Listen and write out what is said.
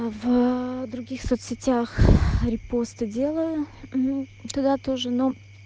в других соцсетях репосты делаю туда тоже но